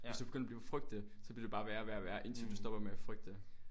Hvis du begynder at frygte det så bliver det bare være og værre og værre indtil du stopper med at frygte det